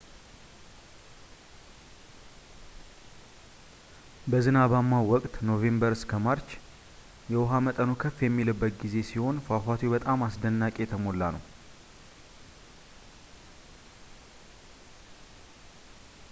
በዝናባማው ወቅትኖቬምበር እስከ ማርች የውሀ መጠኑ ከፍ የሚልበት ጊዜ ሲሆን ፏፋቴው በጣም አስደናቂ የተሞላ ይሆናል